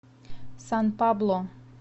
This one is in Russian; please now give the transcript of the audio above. сан пабло